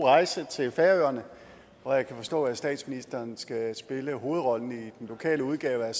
rejse til færøerne hvor jeg kan forstå at statsministeren skal spille hovedrollen i den lokale udgave af